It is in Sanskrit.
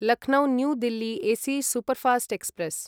Lucknow new Delhi AC superfast express